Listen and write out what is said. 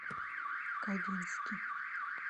кавински